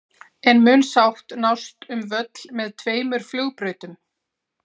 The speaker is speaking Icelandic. En mun sátt nást um völl með tveimur flugbrautum?